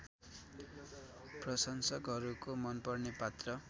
प्रशंसकहरूको मनपर्ने पात्र